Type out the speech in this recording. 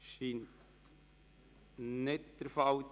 – Das ist nicht der Fall.